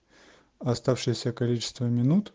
оставшееся количество минут